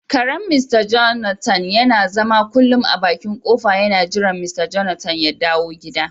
Karen "mr Jonathan " yana zama kullun a bakin kofa yana jiran" mr Jonathan " ya dawo gida.